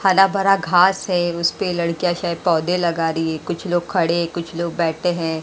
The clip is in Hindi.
हरा भरा घास है उसपे लड़कियां शायद पौधे लगा रही है कुछ लोग खड़े है कुछ लोग बैठे है।